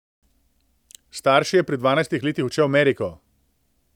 S starši je pri dvanajstih letih odšel v Ameriko.